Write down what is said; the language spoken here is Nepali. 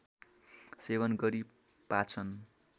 सेवन गरी पाचन